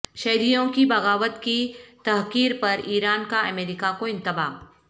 شہریوں کی بغاوت کی تحقیر پر ایران کا امریکہ کو انتباہ